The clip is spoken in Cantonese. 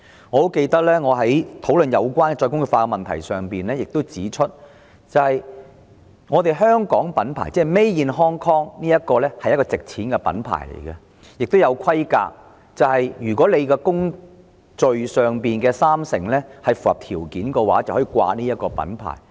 我記得我在討論再工業化議題時指出，香港品牌即 Made in Hong Kong 是一個值錢的品牌，亦要符合一定規格，要求三成工序在港進行才可使用這個品牌。